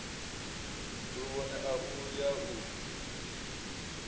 luvhone a u ya u